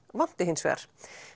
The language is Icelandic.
vanti hins vegar